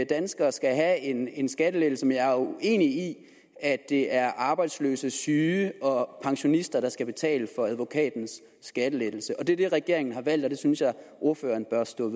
danskere skal have en en skattelettelse men jeg er uenig i at det er arbejdsløse syge og pensionister der skal betale for advokatens skattelettelse og det er det regeringen har valgt og det synes jeg ordføreren bør stå